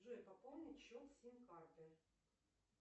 джой пополнить счет сим карты